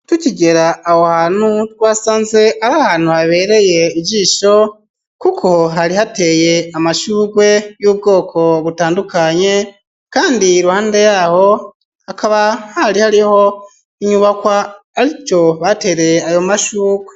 Tukigera aho hantu twasanze ari ahantu habereye ijisho kuko hari hateye amashurwe y'ubwoko butandukanye kandi iruhande yaho hakaba hari hariho inyubakwa arico batereye ayo mashurwe.